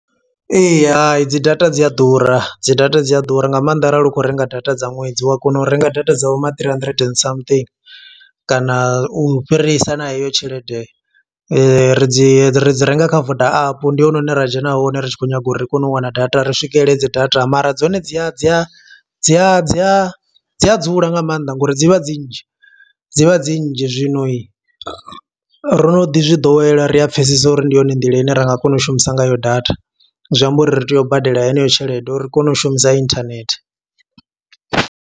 Ee, hai dzi data dzi a ḓura, dzi data dzi a ḓura nga maanḓa arali u khou renga data dza ṅwedzi. U a kona u renga data dza vho ma three hundred and something, kana u fhirisa na heyo tshelede. Ri dzi ri dzi renga kha Voda app ndi hone hune ra dzhena hone ri tshi khou nyaga uri ri kone u wana data. Ri swikelele dzi data, mara dzone dzi a dzi a a dzi a dzi a dzula nga mannḓa nga uri dzi vha dzi nnzhi dzi vha dzi nnzhi. Zwino ro no ḓi zwi ḓowela ri a pfesesa uri ndi yone nḓila ine ra nga kona u shumisa ngayo data, zwi amba uri ri tea u badela heneyo tshelede uri ri kone u shumisa internet.